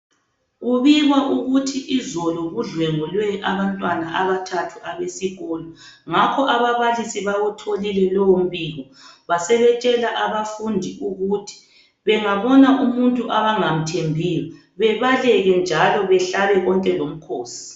Kubikwa ukuthi izolo kudlwengulwe abantwana abathathu abesikolo. Ngakho ababalisi bawutholile lowombiko basebetshela abafundi ukuthi bengabona umuntu abangamthembiyo babaleke njalo behlabe konke lomkhosi.